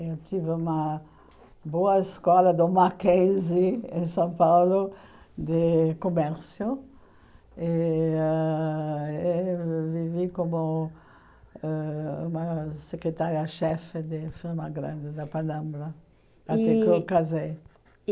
Eu tive uma boa escola do Mackenzie, em São Paulo, de Comércio, e ãh eh vivi como ãh uma secretária-chefe de firma grande da Palambra, até que eu casei. E